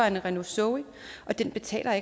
en renault zoe og den betaler